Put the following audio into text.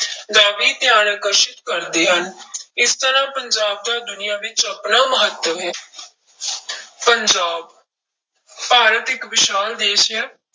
ਦਾ ਵੀ ਧਿਆਨ ਆਕਰਸ਼ਿਤ ਕਰਦੇ ਹਨ ਇਸ ਤਰ੍ਹਾਂ ਪੰਜਾਬ ਦਾ ਦੁਨੀਆਂ ਵਿੱਚ ਆਪਣਾ ਮਹੱਤਵ ਹੈ ਪੰਜਾਬ ਭਾਰਤ ਇੱਕ ਵਿਸ਼ਾਲ ਦੇਸ ਹੈ